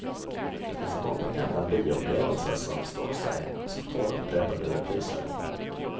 Det finns många gamla bioupplevelser som står sig, som tål upprepade repriser.